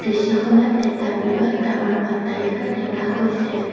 দৃশ্যখনত এটা বৃহৎ ডাঙৰ অট্টালিকা দেখা গৈছে।